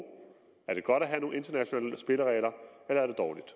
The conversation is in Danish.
er det godt at have nogle internationale spilleregler eller er det dårligt